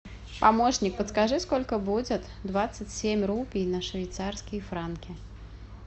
помощник подскажи сколько будет двадцать семь рупий на швейцарские франки